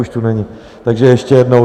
Už tu není, takže ještě jednou.